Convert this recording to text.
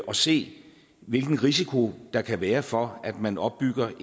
og se hvilken risiko der kan være for at man opbygger